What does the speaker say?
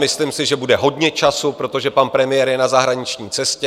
Myslím si, že bude hodně času, protože pan premiér je na zahraniční cestě.